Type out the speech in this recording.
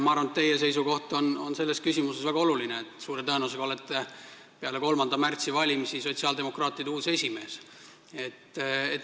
Ma arvan, et teie seisukoht on selles küsimuses väga oluline, sest suure tõenäosusega saab teist peale 3. märtsi valimisi sotsiaaldemokraatide uus esimees.